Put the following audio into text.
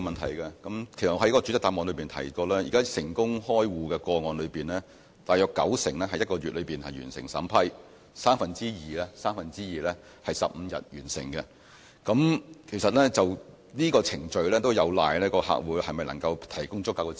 我在主體答覆中提到，現時在成功開戶的個案中，大約九成可在一個月內完成審批，三分之二可在15天內完成，其實這個程序有賴客戶能否向銀行提供足夠資料。